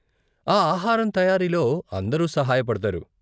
ఆ ఆహారం తయారీలో అందరూ సహాయపడతారు.